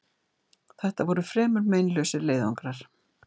Þetta voru fremur meinlausir leiðangrar.